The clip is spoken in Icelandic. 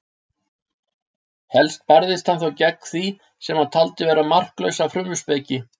Helst barðist hann þó gegn því sem hann taldi vera marklausa frumspeki.